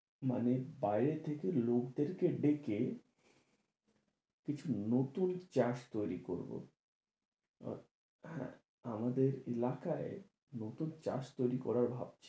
মানে বাইরে থেকে লোকদেরকে ডেকে কিছু নতুন চাষ তৈরি করবো, হ্যাঁ আমাদের এলাকায় নতুন চাষ তৈরি করার ভাবছি,